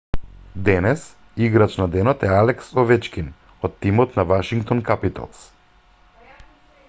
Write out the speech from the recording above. денес играч на денот е алекс овечкин од тимот на вашингтон капиталс